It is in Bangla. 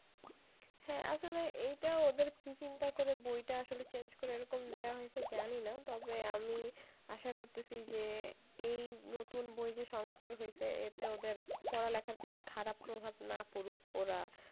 হ্যাঁ আসলে এইটা ওদের কি চিন্তা করে আসলে বইটা আসলে change করে এইরকম দেওয়া হইছে জানিনা তবে আমি আসা করতেছি যে এই নতুন বই যে সংস্কার হইছে এতে ওদের পড়া লেখার প্রতি খারাপ প্রভাব না পড়ুক ওরা,